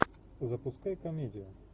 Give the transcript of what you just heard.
запускай комедию